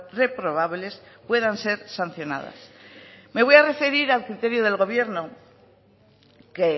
reprobables puedan ser sancionadas me voy a referir al criterio del gobierno que